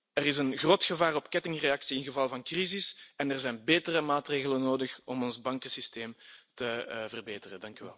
Er is een groot gevaar op kettingreactie in geval van crisis en er zijn betere maatregelen nodig om ons bankensysteem te verbeteren.